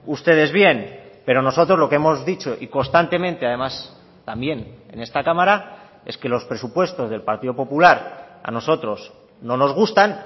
ustedes bien pero nosotros lo que hemos dicho y constantemente además también en esta cámara es que los presupuestos del partido popular a nosotros no nos gustan